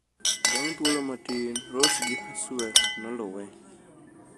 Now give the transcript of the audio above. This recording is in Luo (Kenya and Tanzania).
Bang' thuolo matin Ross gi Haswell noluwe.